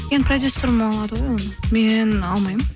енді продюсерім алады ғой оны мен алмаймын